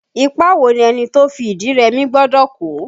Ipa wo ni ẹni tó fi ìdí rẹmi gbọ́dọ̀ kó?